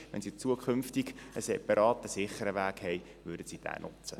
Wenn sie in Zukunft einen sichereren Weg haben werden, werden sie diesen nutzen.